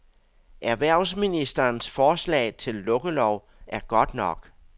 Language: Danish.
Erhvervsministerens forslag til lukkelov er godt nok.